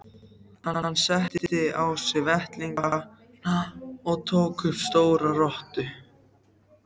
Hann setti á sig vettlingana og tók upp stóra rottu.